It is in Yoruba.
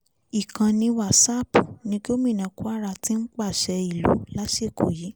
ìkànnì wàsápù ní gómìnà kwara ti ń pàṣẹ ìlú lásìkò yìí